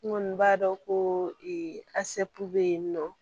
N kɔni b'a dɔn ko bɛ yen nɔ